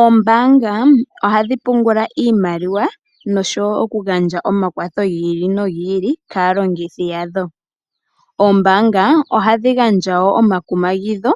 Oombanga ohadhi pungula iimaliwa noshowo okugandja omakwatho gi ili no gi ili kaalongithi yadho. Oombanga ohadhi gandja wo omakumagidho